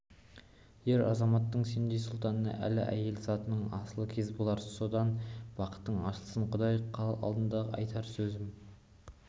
ер-азаматтың сендей сұлтанына әлі әйел затының асылы кез болар содан бақытың ашылсын құдай алдында айтар сөзім